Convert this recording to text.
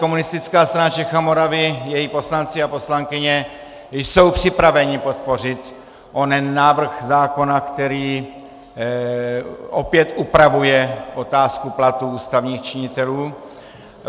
Komunistická strana Čech a Moravy, její poslanci a poslankyně jsou připraveni podpořit onen návrh zákona, který opět upravuje otázku platů ústavních činitelů.